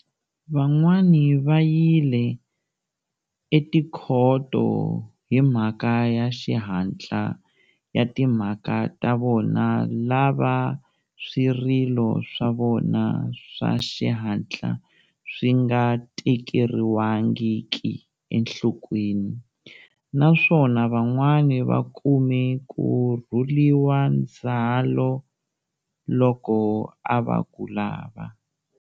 Van'wana va yile etikhoto hi mhaka ya xihatla ya timhaka ta vona lava swirilo swa vona swa xihatla swi nga tekeriwangiki enhlokweni, naswona van'wana va kume ku rhuliwa ndzwalo loko a va ku lava.